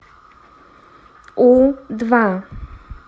у два